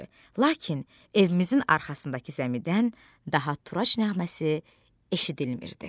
Lakin evimizin arxasındakı zəmidən daha Turacın naməsi eşidilmir.